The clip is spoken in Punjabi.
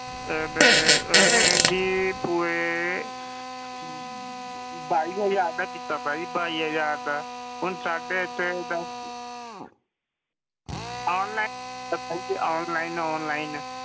ਅਹ ਮੈਂ ਉਹਨੇ ਜੀ ਪੂਰੇ ਬਾਈ ਹਜ਼ਾਰ ਦਾ ਕੀਤਾ ਸੀ ਜੀ ਬਾਈ ਹਜ਼ਾਰ ਦਾ, ਹੁਣ ਸਾਡੇ ਇੱਥੇ ਦੱਸ online ਪਤਾ ਨੀ ਜੀ online online